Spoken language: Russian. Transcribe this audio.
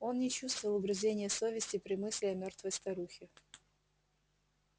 он не чувствовал угрызения совести при мысли о мёртвой старухе